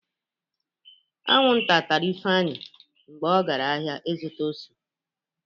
Aṅụ nta tara Ifeanyi mgbe ọgara ahịa ịzụta ose.